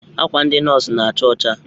Akwa ndị nọs na-acha ọcha.